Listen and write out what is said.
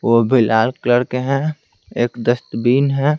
वो भी लाल कलर के हैं एक डस्टबिन है।